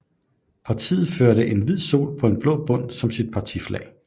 Partiet førte en hvid sol på blå bund som sit partiflag